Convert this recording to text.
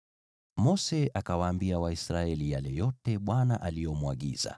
Mose akawaambia Waisraeli yale yote Bwana alimwagiza.